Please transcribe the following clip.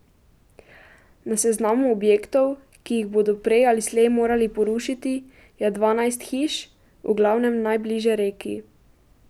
Na seznamu objektov, ki jih bodo prej ali slej morali porušiti, je dvanajst hiš, v glavnem najbliže reki.